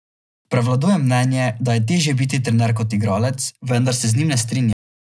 Prevladuje mnenje, da je težje biti trener kot igralec, vendar se z njim ne strinjam.